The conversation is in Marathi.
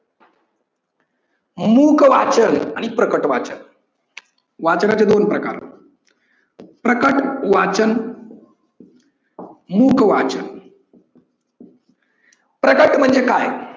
मुख वाचन आणि प्रकट वाचन, वाचनाचे दोन प्रकार प्रकट वाचन, मुख वाचन. प्रकट म्हणजे काय?